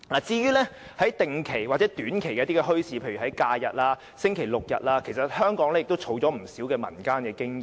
至於定期或短期墟市，例如每逢假日及星期六日才舉行的墟市，香港其實也累積了不少民間經驗。